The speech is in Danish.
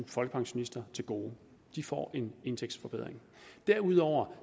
folkepensionister til gode de får en indtægtsforbedring derudover